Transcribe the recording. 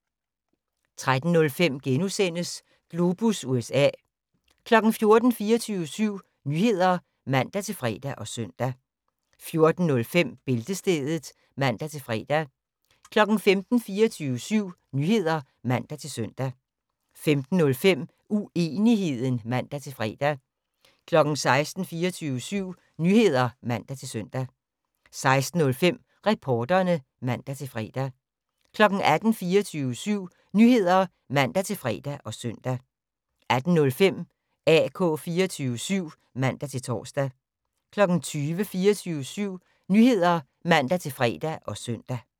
13:05: Globus USA * 14:00: 24syv Nyheder (man-fre og søn) 14:05: Bæltestedet (man-fre) 15:00: 24syv Nyheder (man-søn) 15:05: Uenigheden (man-fre) 16:00: 24syv Nyheder (man-søn) 16:05: Reporterne (man-fre) 18:00: 24syv Nyheder (man-fre og søn) 18:05: AK 24syv (man-tor) 20:00: 24syv Nyheder (man-fre og søn)